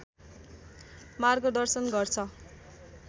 मार्गदर्शन गर्छ